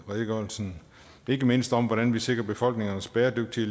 redegørelsen ikke mindst om hvordan vi sikrer befolkningernes bæredygtige